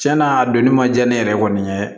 Tiɲɛna a donni ma diya ne yɛrɛ kɔni ye